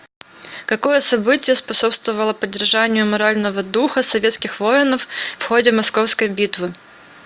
какое событие способствовало поддержанию морального духа советских воинов в ходе московской битвы